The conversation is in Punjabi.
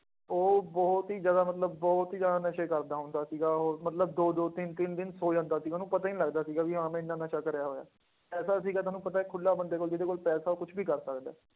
ਉਹ ਬਹੁਤ ਹੀ ਜ਼ਿਆਦਾ ਮਤਲਬ ਬਹੁਤ ਹੀ ਜ਼ਿਆਦਾ ਨਸ਼ੇ ਕਰਦਾ ਹੁੰਦਾ ਸੀਗਾ ਉਹ ਮਤਲਬ ਦੋ ਦੋ ਤਿੰਨ ਤਿੰਨ ਦਿਨ ਸੌ ਜਾਂਦਾ ਸੀ, ਉਹਨੂੰ ਪਤਾ ਹੀ ਨੀ ਲੱਗਦਾ ਸੀਗਾ ਵੀ ਹਾਂ ਮੈਂ ਇੰਨਾ ਨਸ਼ਾ ਕਰਿਆ ਹੋਇਆ, ਪੈਸਾ ਸੀਗਾ ਤੁਹਾਨੂੰ ਪਤਾ ਹੈ ਖੁੱਲਾ ਬੰਦੇ ਕੋਲ ਜਿਹਦੇ ਕੋਲ ਪੈਸਾ ਉਹ ਕੁਛ ਵੀ ਕਰ ਸਕਦਾ ਹੈ।